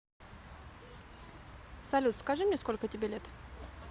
салют скажи мне сколько тебе лет